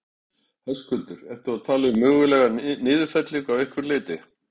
Höskuldur: Ertu þá að tala um mögulega niðurfellingu af einhverju leyti?